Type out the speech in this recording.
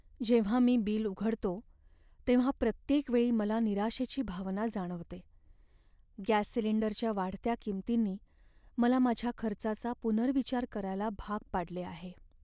जेव्हा मी बिल उघडतो, तेव्हा प्रत्येक वेळी मला निराशेची भावना जाणवते. गॅस सिलिंडरच्या वाढत्या किंमतींनी मला माझ्या खर्चाचा पुनर्विचार करायला भाग पाडले आहे.